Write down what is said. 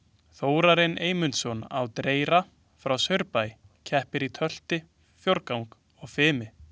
Þórarinn Eymundsson á Dreyra frá Saurbæ keppir í tölti, fjórgangi og fimi.